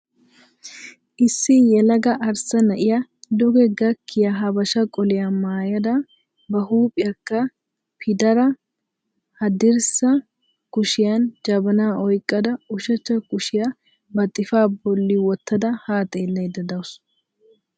Issi yelaga arssa na"iyaa duge gakkiya habashaa qoliyaa maayada ba huuphiyaakka pidaara haddirssa kushiyan jabana oyqqada ushachcha kushiya ba xifaa bolli wottada haa xeellayda dawus.